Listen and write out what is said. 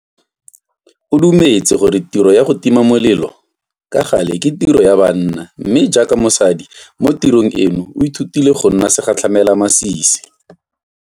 O dumetse gore tiro ya go tima molelo ka gale ke tiro ya banna mme jaaka mosadi mo tirong eno o ithutile go nna segatlhamelamasisi.